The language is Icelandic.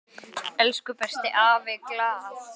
Elsku besti afi Glað.